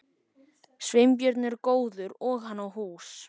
Sveinbjörn er góður og hann á hús.